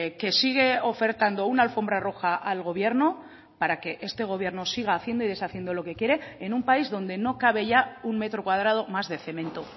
que sigue ofertando una alfombra roja al gobierno para que este gobierno siga haciendo y deshaciendo lo que quiere en un país donde no cabe ya un metro cuadrado más de cemento